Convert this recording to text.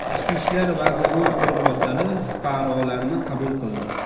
Ichki ishlar vazirining o‘rinbosari fuqarolarni qabul qildi.